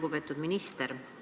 Lugupeetud minister!